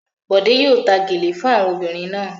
Bọ̀dé yóò ta gèlè fún àwọn obìnrin náà.